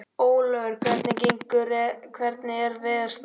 Ólíver, hvernig er veðurspáin?